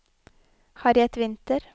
Harriet Winther